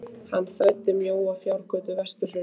Hann þræddi mjóa fjárgötu vestur hraunið.